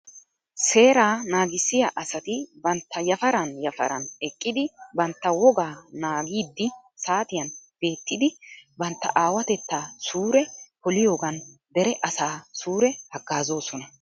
Seeraa naagissiyaa asati bantta yafaran yafaran eqqidi bantta wogaa naagidi saatiyan beettidi bantta aawatetaa suure poliyoogan dere asaa sure hagaazoosona.